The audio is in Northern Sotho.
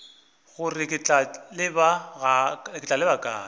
gore ke tla leba kae